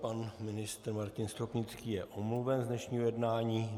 Pan ministr Martin Stropnický je omluven z dnešního jednání.